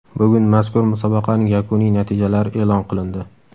Bugun mazkur musobaqaning yakuniy natijalari e’lon qilindi.